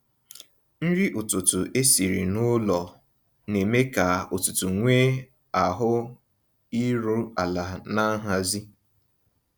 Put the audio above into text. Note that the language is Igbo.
Nrí ụ̀tụtụ̀ ésìrí n'ụ́lọ̀ ná-èmé kà ụ̀tụtụ̀ nwéé ahụ̀ írù àlà ná nhàzị́.